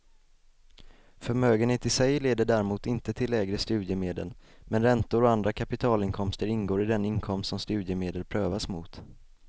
Förmögenhet i sig leder däremot inte till lägre studiemedel, men räntor och andra kapitalinkomster ingår i den inkomst som studiemedel prövas mot.